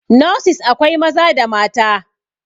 nurses akwai Maza da mata